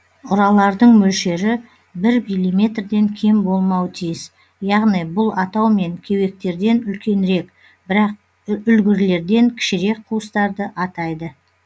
ұралардың мөлшері бір миллиметрден кем болмауы тиіс яғни бұл атаумен кеуектерден үлкенірек бірақ үлгірлерден кішірек қуыстарды атайды